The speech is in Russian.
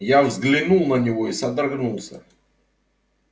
я взглянул на него и содрогнулся